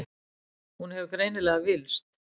Hún hefur greinilega villst.